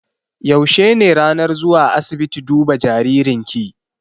Yaushe ne ranar zuwa asiibiti duba jaririn ki?